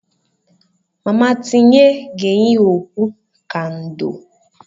Mama tinye ga-eyi okpu ka ndò.